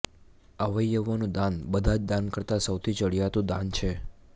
અવયવોનું દાન બધા જ દાન કરતાં સૌથી ચઢીયાતું દાન છે